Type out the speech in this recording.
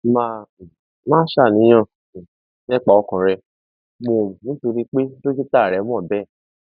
má um máa ṣàníyàn um nípa ọkàn rẹ mọ nítorí pé dókítà rẹ mọ bẹẹ